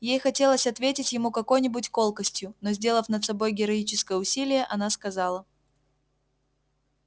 ей хотелось ответить ему какой-нибудь колкостью но сделав над собой героическое усилие она сказала